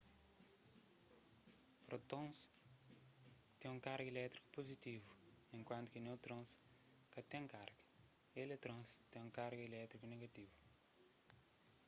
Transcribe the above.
prótons ten un karga elétriku puzitivu enkuantu ki neutrons ka ten karga eletrons ten un karga elétriku negativu